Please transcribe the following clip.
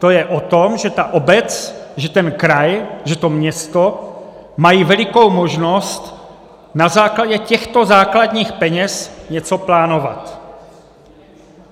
To je o tom, že ta obec, že ten kraj, že to město mají velikou možnost na základě těchto základních peněz něco plánovat.